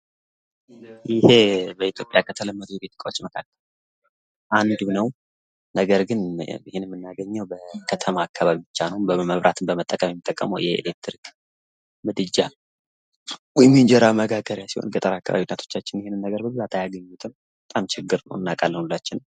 ይሄ በኢትዮጵያ ከተለመዱ እቃዎች መካከል አንዱ ነው። ነገር ግን ይህን የምናገኘው በከተማ አካባቢ ብቻ ነው። መብራትን በመጠቀም የኤሌክትሪክ ምድጃ የእንጀራ መጋገሪያ ሲሆን በገጠር አካባቢ ያሉ እናቶቻችን ይህን ነገር አያገኙትም። በጣም ችግር ነው። እናቃለን ሁላችን።